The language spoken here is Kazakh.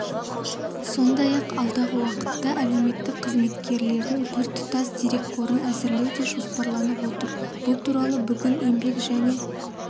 сондай-ақ алдағы уақытта әлеуметтік қызметкерлердің біртұтас дерекқорын әзірлеу де жоспарланып отыр бұл туралы бүгін еңбек және